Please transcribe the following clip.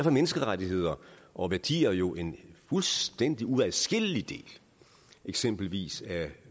er menneskerettigheder og værdier jo en fuldstændig uadskillelig del af eksempelvis